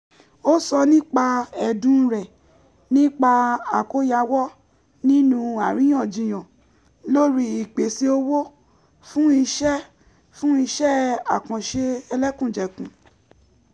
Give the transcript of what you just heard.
ó sọ nípa ẹ̀dùn rẹ̀ nípa àkóyawọ̀ nínú àríyànjiyàn lórí ìpèsè owó fún ise fún ise àkànṣe ẹlẹ́kùnjẹkùn